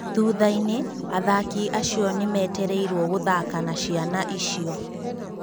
Thuthainĩ, athaki acio nĩ metereirwo gũthaka na ciana icio.